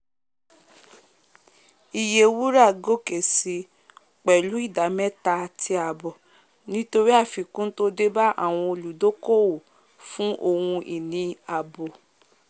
iye wúrà gòkè sí pẹ̀lú ìdá méta àti àbọ̀ nítorí àfikún tó débá àwọn íolùdokoowo fún ohun-ini ààbò